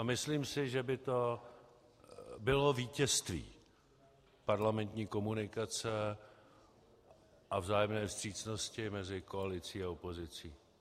A myslím si, že by to bylo vítězství parlamentní komunikace a vzájemné vstřícnosti mezi koalicí a opozicí.